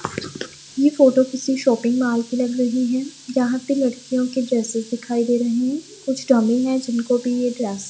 ये फोटो किसी shopping mall की लग रही हैं जहां पे लड़कियों के ड्रेसेस दिखाई दे रहे हैं कुछ डमी है जिनको भी ये ड्रेस --